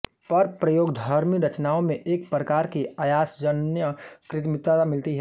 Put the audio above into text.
पर प्रयोगधर्मी रचनाओं में एक प्रकार की आयासजन्य कृत्रिमता मिलती है